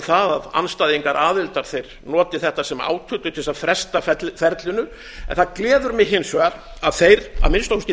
það að andstæðingar aðildar noti þetta sem átyllu til þess að fresta ferlinu það gleður mig hins vegar að þeir að minnsta kosti í